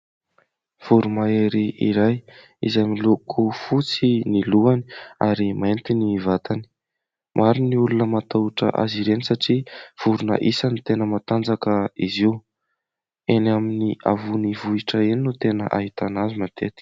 Voromahery iray izay miloko fotsy ny lohany ary mainty ny vatany. Maro ny olona matahotra azy ireny satria vorona isany tena matanjaka izy io. Eny amin'ny havon'ny vohitra eny no tena ahitana azy matetika.